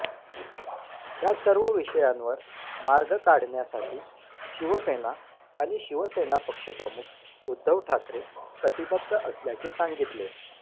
या सर्व विषयांवर मार्ग काढण्यासाठी शिवसेना आणि शिवसेना पक्षप्रमुख उद्धव ठाकरे कटिबद्ध असल्याचे सांगितले